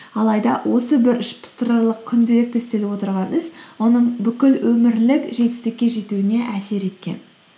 алайда осы бір ішпыстырарлық күнделікті істеліп отырған іс оның бүкіл өмірлік жетістікке жетуіне әсер еткен